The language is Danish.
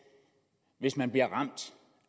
hvis man bliver ramt